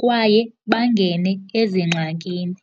kwaye bangene ezingxakini.